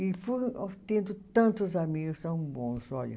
E fui ó, tendo tantos amigos, tão bons, olha.